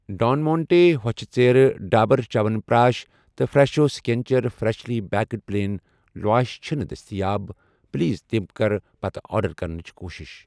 ڈان مانٹے ہۄچھِ ژیرٕ ، ڈابر چَوَن پرٛاش تہٕ Fresho signature freshly baked plain lavash چھِنہٕ دٔستِیاب ، پلیز تِم کر پتہٕ آرڈر کرنٕچ کوٗشش۔